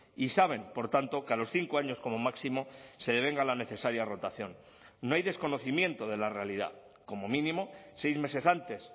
y saben por tanto que a los cinco años como máximo se devenga la necesaria rotación no hay desconocimiento de la realidad como mínimo seis meses antes